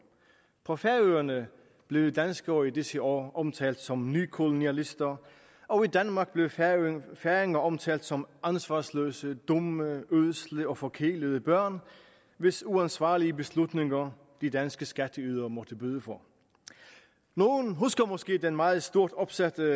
på færøerne blev danskere i disse år omtalt som nykolonialister og i danmark blev færinger færinger omtalt som ansvarsløse dumme ødsle og forkælede børn hvis uansvarlige beslutninger de danske skatteydere måtte bøde for nogle husker måske det meget stort opsatte